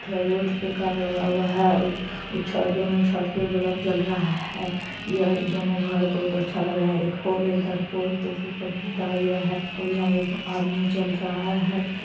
थ रोड पे कार लगा हुआ है। उ च दुनु छत पे बलब जल रहा है। यह दोनों घर बहोत अच्छा लग रहा है। एक पोल है इधर पोल पे सुखल तार गया है और यहाँ एक आदमी चल रहा है।